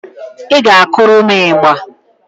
Ị ga-akụrụ m ịgbà